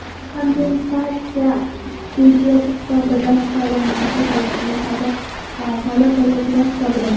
Kompensatsiya budjet hisobidan to‘lanadi, ya’ni soliq to‘lovchilar hisobidan.